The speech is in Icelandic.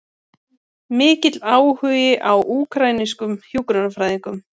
Mikill áhugi á úkraínska hjúkrunarfræðingnum